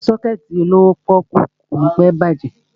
Sọ́kẹ̀tì olówó pọ́ọ́kú ò ní pẹ́ bàjẹ́.